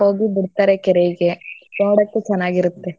ಹೋಗಿ ಬಿಡ್ತಾರೆ ಕೆರೆಗೆ ನೋಡೋಕು ಚನಾಗಿರುತ್ತೆ.